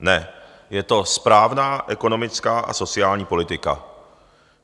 Ne, je to správná ekonomická a sociální politika.